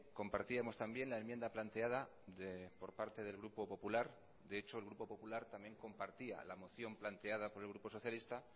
compartíamos también la enmienda planteada por parte del grupo popular de echo el grupo popular también compartía la moción planteada por el grupo socialista